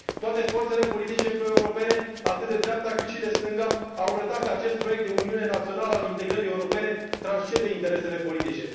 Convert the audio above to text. Toate forțele politice proeuropene, atât de dreapta cât și de stânga, au arătat că acest proiect de uniune națională al integrării europene transcende interesele politice.